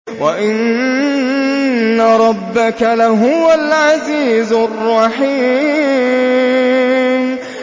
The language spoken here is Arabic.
وَإِنَّ رَبَّكَ لَهُوَ الْعَزِيزُ الرَّحِيمُ